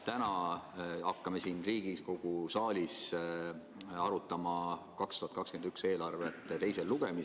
Täna hakkame siin Riigikogu saalis teisel lugemisel arutama 2021. aasta eelarvet.